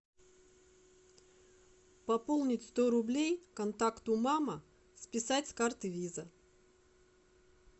пополнить сто рублей контакту мама списать с карты виза